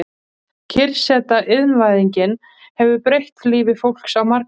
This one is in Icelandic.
Kyrrseta Iðnvæðingin hefur breytt lífi fólks á marga vegu.